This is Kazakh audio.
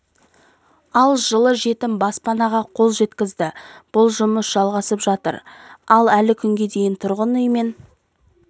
ал жылы жетім баспанаға қол жеткізді бұл жұмыс жалғасып жатыр ал әлі күнге дейін тұрғын үймен